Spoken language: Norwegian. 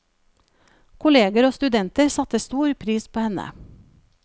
Kolleger og studenter satte stor pris på henne.